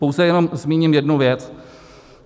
Pouze jenom zmíním jednu věc.